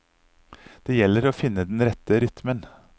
Det gjelder å finne den rette rytmen.